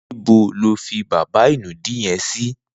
Nibò ló fi bàbá inùdí yèn si?